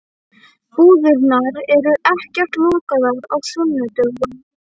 Búðirnar eru ekkert lokaðar á sunnudögum.